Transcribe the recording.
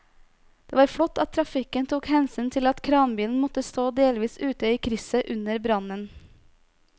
Det var flott at trafikken tok hensyn til at kranbilen måtte stå delvis ute i krysset under brannen.